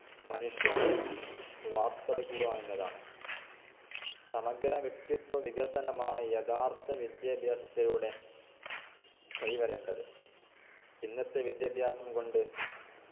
മനുഷ്യനെ വാർത്തെടുക്കുക എന്നതാണ് സമഗ്രവ്യക്തിത്വ വികസനമാണ് യഥാർത്ഥ വിദ്യാഭ്യാസത്തിലൂടെ കൈവരേണ്ടത്ത് ഇന്നത്തെ വിദ്യാഭ്യാസം കൊണ്ട്